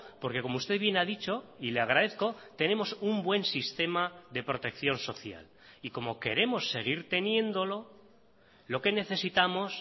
porque como usted bien ha dicho y le agradezco tenemos un buen sistema de protección social y como queremos seguir teniéndolo lo que necesitamos